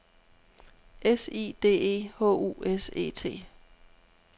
S I D E H U S E T